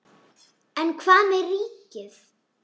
En hvað með ríkið?